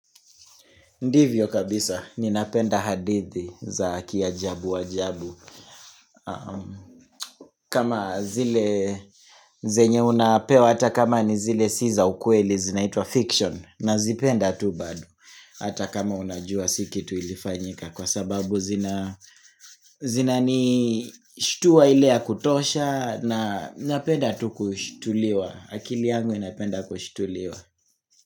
Ndivyo kabisa, ninapenda hadithi za ki ajabu ajabu. Kama zile zenye unapewa, hata kama ni zile si za ukweli zinaitwa fiction, na zipenda tu baado. Hata kama unajua si kitu ilifanyika, kwa sababu zina zina nishtua ile ya kutosha na napenda tu kushituliwa. Akili yangu inapenda kushituliwa.